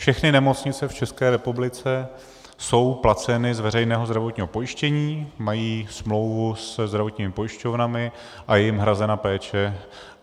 Všechny nemocnice v České republice jsou placeny z veřejného zdravotního pojištění, mají smlouvu se zdravotními pojišťovnami a je jim hrazena péče.